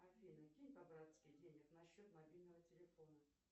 афина кинь по братски денег на счет мобильного телефона